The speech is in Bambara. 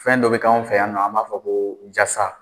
Fɛn dɔ bɛ kɛ anw fɛ yan nɔ a b'a fɔ ko jasa,